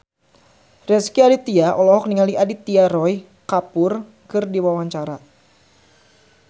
Rezky Aditya olohok ningali Aditya Roy Kapoor keur diwawancara